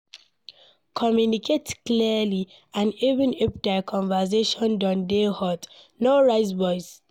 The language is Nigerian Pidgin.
Communicate clearly and even if di conversation don dey hot, no raise voice